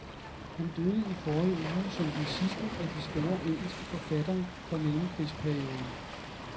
Han døde i forrige uge som den sidste af de store, engelske forfattere fra mellemkrigsperioden.